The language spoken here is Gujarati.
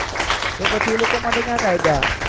તો પછી એ લોકો માટે ક્યાં કાયદા છે